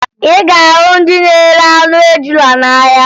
Ị ga-ahụ ndị na-ere anụ ejula n'ahịa